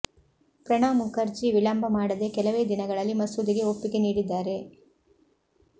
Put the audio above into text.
ಪ್ರಣವ್ ಮುಖರ್ಜಿ ವಿಳಂಬ ಮಾಡದೆ ಕೆಲವೇ ದಿನಗಳಲ್ಲಿ ಮಸೂದೆಗೆ ಒಪ್ಪಿಗೆ ನೀಡಿದ್ದಾರೆ